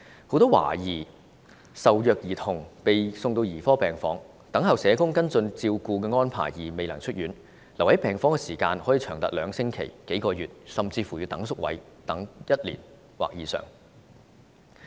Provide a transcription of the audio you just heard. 很多懷疑受虐兒童被送往兒科病房後，因等候社工的跟進照顧安排而未能出院，留院時間可以長達兩星期、數個月，甚至因等候宿位而要待1年或以上。